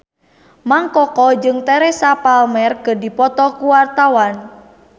Mang Koko jeung Teresa Palmer keur dipoto ku wartawan